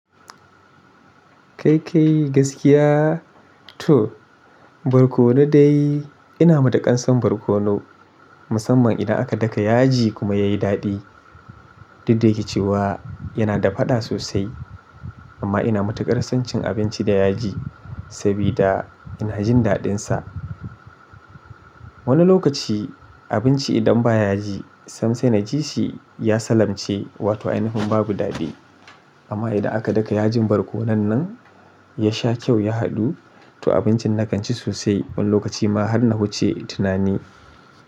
Gaskiya, toh, barkonu dai ina matukar san barkonu musamman inda aka daka yaji kuma yayi dadi. Duk da yake cewa yana da faɗa sosai amma ina matuƙar son cin abinci da yaji, sabida ina jin daɗinsa. Wani lokaci abinci idan ba yaji sam sai na ji shi ya sallamce wato ainifin babu daɗi amma idan aka daka yajin barkonon nan, ya sha kyau ya haɗu, to abincin na kan ci sosai wani lokaci ma har na wuce tunani.